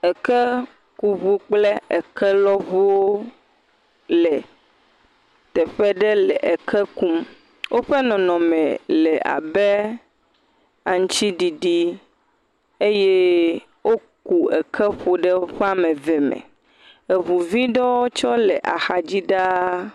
ekekuʋu kple ekelɔʋuwo le teƒe ɖe le eke kum wóƒe nɔnɔme labe aŋtsiɖiɖi eye woku eke ƒoɖe wóƒe ameve me eʋuvi tsɛ ɖewo le axadzi ɖaa